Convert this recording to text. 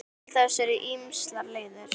Til þess eru ýmsar leiðir.